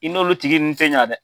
I n'olu tigi nunnu tɛ ɲɛ dɛ.